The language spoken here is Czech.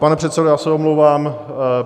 Pane předsedo, já se omlouvám.